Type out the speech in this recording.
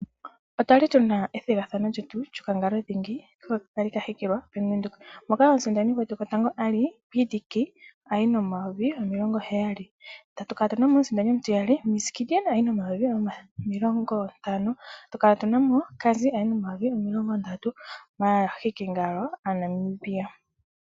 Otwali tuna ethigathano lyetu lyokangalo dhingi hoka kali ka hikilwa Bank Windhoek, moka omusindani gwetu gwotango ali PDK ayi nomayovi omilongo heyali, tatu kala tunamo omusindani omutiyali Ms Gideon ayi nomayovi omilongo ntano, tatu kala tunamo Cazzy ayi nomayovi omilongo ndatu. Aahikingalo aaNamibia.